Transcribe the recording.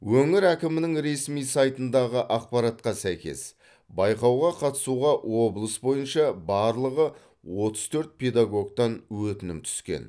өңір әкімінің ресми сайтындағы ақпаратқа сәйкес байқауға қатысуға облыс бойынша барлығы отыз төрт педагогтан өтінім түскен